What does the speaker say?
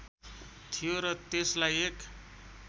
थियो र त्यसलाई एक